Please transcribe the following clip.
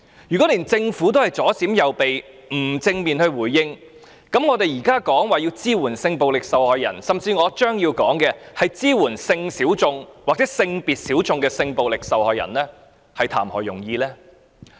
如果連政府也左閃右避，不作正面回應，我們現在提出要支援性暴力受害人，甚至我將要談及的支援屬性小眾或性別小眾的性暴力受害人，又談何容易呢？